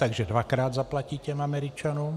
Takže dvakrát zaplatí těm Američanům.